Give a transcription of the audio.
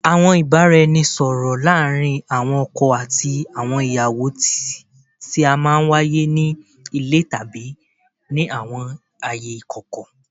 Awọn ibaraẹnisọrọ laarin awọn ọkọ ati awọn iyawo ti a maa n waye ni ile tabi ni awọn aaye ikọkọ